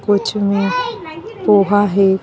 पॉच में पोहा हैं।